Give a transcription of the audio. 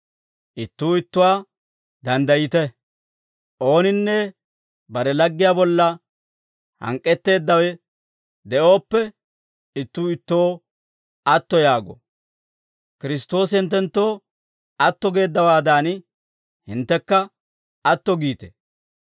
Ittuu ittuwaawaa danddayite; ooninne bare laggiyaa bolla hank'k'etteeddawe de'ooppe, ittuu ittoo atto yaago. Kiristtoosi hinttenttoo atto geeddawaadan, hinttekka atto giite.